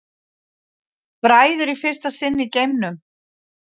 Bræður í fyrsta sinn í geimnum